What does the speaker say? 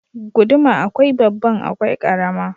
Guduma akwai babban akwai karama.